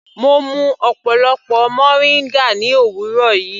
Mo mú ọ̀pọlọpọ moringa ní òwúrọ̀ yìí.